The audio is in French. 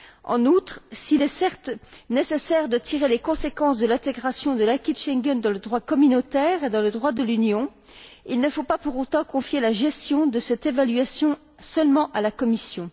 En outre, s'il est certes nécessaire de tirer les conséquences de l'intégration de l'acquis de Schengen dans le droit communautaire et dans le droit de l'Union, il ne faut pas pour autant confier la gestion de cette évaluation à seule la Commission.